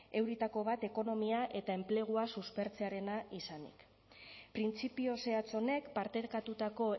euritako bat ekonomia eta enplegua suspertzearena izanik printzipio zehatz honek partekatutako